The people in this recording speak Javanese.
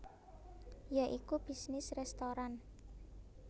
Ya iku bisnis restoran